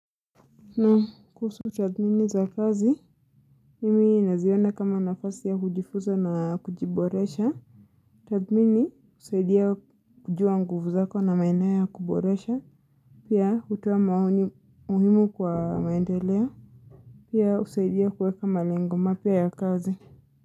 Na kuhusu tathmini za kazi. Mimi naziona kama nafasi ya hujifunza na kujiboresha. Tathmini husaidia kujua nguvu zako na maeneo ya kuboresha. Pia hutua maoni muhimu kwa maendeleo. Pia husaidia kuweka malengo mapya ya kazi.